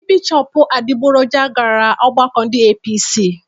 Ndị Bishọpụ adịgboroja gara ọgbakọ ndị APC